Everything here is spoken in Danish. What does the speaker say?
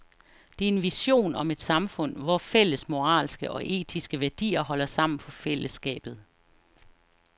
Det er en vision om et samfund, hvor fælles moralske og etiske værdier holder sammen på fællesskabet.